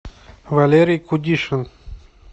валерий кудишин